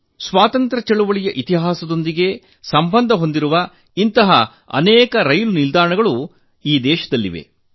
ಸ್ವಾತಂತ್ರ್ಯ ಚಳವಳಿಯ ಇತಿಹಾಸದೊಂದಿಗೆ ಸಂಬಂಧ ಹೊಂದಿರುವ ಇಂತಹ ಅನೇಕ ರೈಲು ನಿಲ್ದಾಣಗಳು ದೇಶದಲ್ಲಿ ಕಾಣಬಹುದು